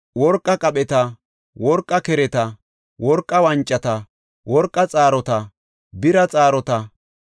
worqa qapheta, worqa kereta, worqa wancata, worqa xaarota, bira xaarota